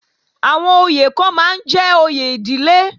Àwọn oyè kan máa ń jẹ́ òye ìdílé